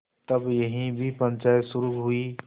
तब यहाँ भी पंचायत शुरू हुई